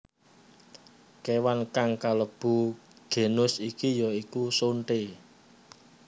Kewan kang kalebu genus iki ya iku sonthé